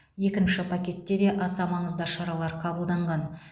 екінші пакетте де аса маңызды шаралар қабылданған